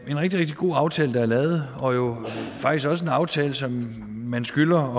rigtig rigtig god aftale der er lavet og er jo faktisk også en aftale som man skylder